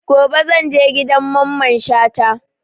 Gobe zan je gidan Mamman Shata